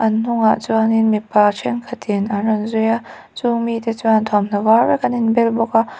an hnungah chuanin mipa ṭhenkhat in an rawn zui a chung mi te chuan thuamhnaw var vek an inbel bawk a.